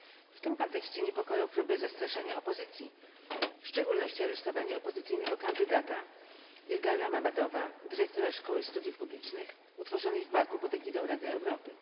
W tym kontekście niepokoją próby zastraszania opozycji, w szczególności aresztowanie opozycyjnego kandydata Ilgara Mammadowa, dyrektora Szkoły Studiów Politycznych utworzonej w Baku pod egidą Rady Europy.